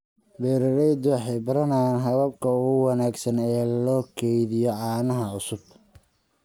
Beeraleydu waxay baranayaan hababka ugu wanaagsan ee loo kaydiyo caanaha cusub.